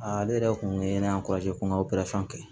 ale yɛrɛ kun ye ne kɔrɔkɛ ko n ka kɛ